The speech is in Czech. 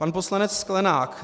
Pan poslanec Sklenák.